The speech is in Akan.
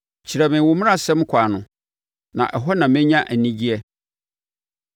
Kyerɛ me wo mmaransɛm kwan no na ɛhɔ na menya anigyeɛ.